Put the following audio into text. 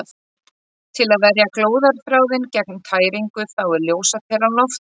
Til að verja glóðarþráðinn gegn tæringu þá er ljósaperan lofttæmd.